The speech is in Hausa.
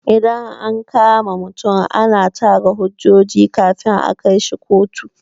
Idan an kama mutum ana tara hujjoji kafin a kaishi kotu.